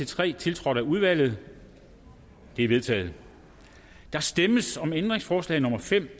tre tiltrådt af udvalget de er vedtaget der stemmes om ændringsforslag nummer fem